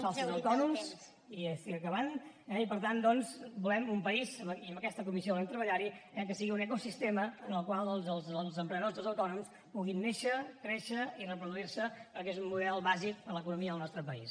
falsos autònoms i ja estic acabant eh i per tant doncs volem un país i en aquesta comissió volem treballar hi eh que sigui un ecosistema en el qual els emprenedors i els autònoms puguin néixer créixer i reproduir se perquè és un model bàsic per a l’economia del nostre país